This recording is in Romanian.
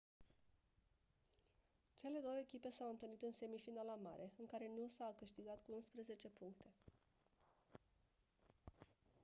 cele două echipe s-au întâlnit în semifinala mare în care noosa a câștigat cu 11 puncte